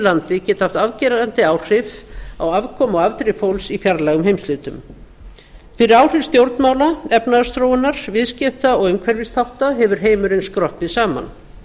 landi geta haft afgerandi áhrif á afkomu og afdrif fólks í fjarlægum heimshlutum fyrir áhrif stjórnmála efnahagsþróunar viðskipta og umhverfisþátta hefur heimurinn skroppið saman